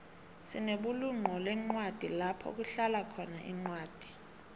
sinebulunqolencwadi lapho kuhlalakhona incwadi